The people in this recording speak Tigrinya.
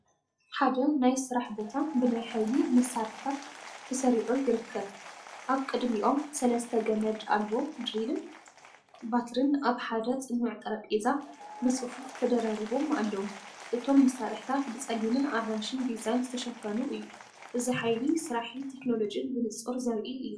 ሓደ ናይ ስራሕ ቦታ ብናይ ሓይሊ መሳርሒታት ተሰሪዑ ይርከብ። ኣብ ቅድሚኦም ሰለስተ ገመድ ኣልቦ ድሪልን ባትሪን ኣብ ሓደ ጽኑዕ ጠረጴዛ ብጽፉፍ ተደራሪቦም ኣለዉ። እቶም መሳርሒታት ብጸሊምን ኣራንሺን ዲዛይን ዝተሸፈኑ እዮም። እዚ ሓይሊ ስራሕን ቴክኖሎጅን ብንጹር ዘርኢ እዩ።